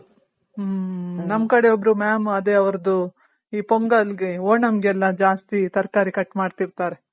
ಹ್ಮ್ ನಮ್ ಕಡೆ ಒಬ್ರು mam ಅದೆ ಅವರ್ದು ಈ ಪೊಂಗಲ್ಗೆ ಒಣಮ್ಗೆಲ್ಲ ಜಾಸ್ತಿ ತರಕಾರಿ ಕಟ್ ಮಾಡ್ತಿರ್ತಾರೆ.